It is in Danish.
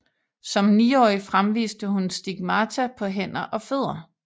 Som niårig fremviste hun stigmata på hænder og fødder